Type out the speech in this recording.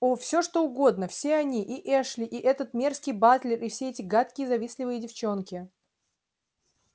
о всё что угодно все они и эшли и этот мерзкий батлер и все эти гадкие завистливые девчонки